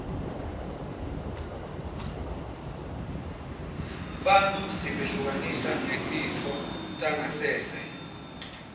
bantfu sibehlukanisa ngetitfo tangasense